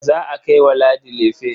Za a kai wa Ladi lefe.